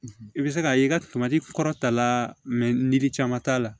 I bɛ se k'a ye i ka tomati kɔrɔta la ni yiri caman t'a la